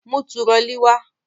Mú turọlí wá!